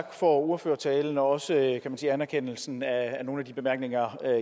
tak for ordførertalen og også anerkendelsen af nogle af de bemærkninger